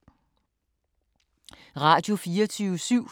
Radio24syv